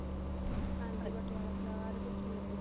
ਹਾਂਜੀ ਪਟਿਆਲਾ ਸਲਵਾਰ ਹੀ ਪੁੱਛਣ ਲੱਗੀ ਸੀ